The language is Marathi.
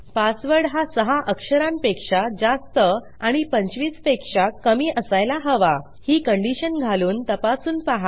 पासवर्ड हा 6 अक्षरांपेक्षा जास्त आणि 25 पेक्षा कमी असायला हवा ही कंडिशन घालून तपासून पहा